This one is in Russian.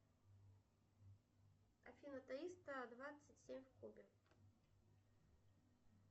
афина триста двадцать семь в кубе